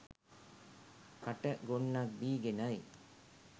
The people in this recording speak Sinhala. කට ගොන්නක්‌ බීගෙනයි.